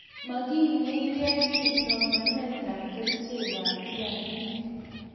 makimeken kiy somanetab kerchekab kiagik.